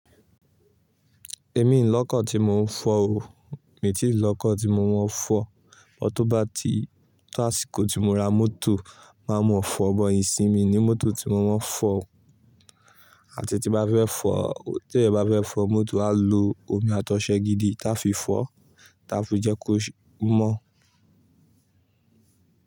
Èmi, n lọ́kọ̀ tí mò ń fọ ò, mi ti ì lọ́kọ̀ tí mo máa fọ. Tó bá ti to ásìkò tí mo ra mọ́tò máa mọ̀ fọ̀ but isinyì mi ni mọ́tò tí mo máa ń fọ̀. Àti tí n bá fẹ́ fọ̀, tí ẹeyan bá fẹ́ fọ mọ́tò, á lo omi atọ̀sẹ gidi tá fi fọ tá fi jẹ́ kó mọ́